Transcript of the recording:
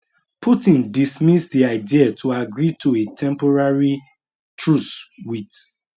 putin dismiss di idea to agree to a temporary truce wit